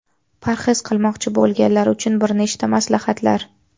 Parhez qilmoqchi bo‘lganlar uchun bir nechta maslahatlar.